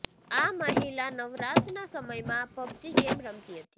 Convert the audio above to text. આ મહિલા નવરાશના સમયમાં પબજી ગેમ રમતી હતી